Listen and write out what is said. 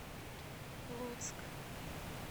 луцк